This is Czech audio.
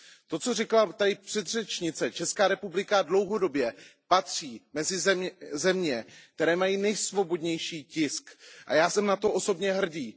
K tomu, co říkala předchozí řečnice Česká republika dlouhodobě patří mezi země, které mají nejsvobodnější tisk, a já jsem na to osobně hrdý.